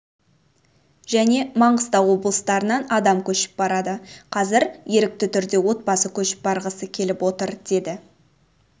және маңғыстау облыстарынан адамдар көшіп барады қазір ерікті түрде отбасы көшіп барғысы келіп отыр деді